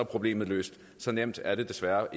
problemet løst så nemt er det desværre